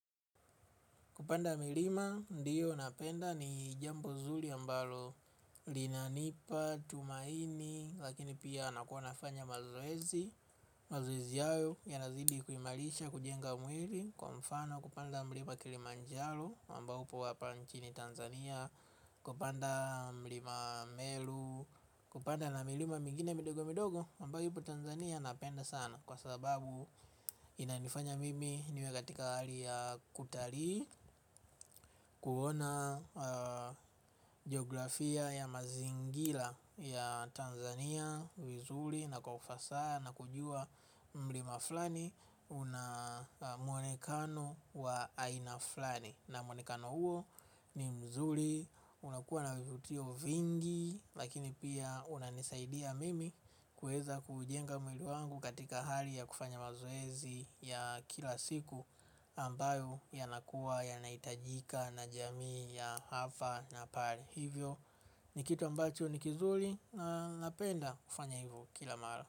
Kupanda milima, ndiyo napenda ni jambo nzuri ambalo linanipa, tumaini, lakini pia nakuwa nafanya mazoezi, mazoezi hayo yanazidi kuimarisha, kujenga mwili, kwa mfano kupanda milima Kilimanjaro, ambao upo hapa nchini Tanzania. Kupanda mlima melu. Kupanda na milima mingine midogo midogo ambayo ipo Tanzania napenda sana. Kwa sababu inanifanya mimi niwe katika hali ya kutalii. Kuona geografia ya mazingira ya Tanzania vizuri na kwa ufasaha na kujua mlima fulani. Una mwonekano wa aina fulani. Na mwonekano huo ni mzuri. Unakuwa na vivutio vingi. Lakini pia unanisaidia mimi kuweza kujenga mweli wangu katika hali ya kufanya mazoezi ya kila siku ambayo yanakuwa yanahitajika na jamii ya hapa na pale. Hivyo ni kitu ambacho ni kizuri na napenda kufanya hivyo kila mara.